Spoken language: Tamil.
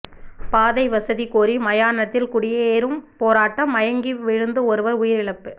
பாதை வசதி கோரி மயானத்தில் குடியேறும் போராட்டம் மயங்கி விழுந்து ஒருவர் உயிரிழப்பு